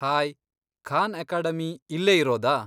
Hi, Khan Academy ಇಲ್ಲೇ ಇರೋದಾ?